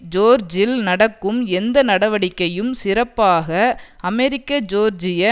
ஜோர்ஜில் நடக்கும் எந்த நடவடிக்கையும் சிறப்பாக அமெரிக்கஜோர்ஜிய